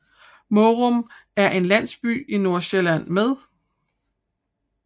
Mårum er en landsby i Nordsjælland med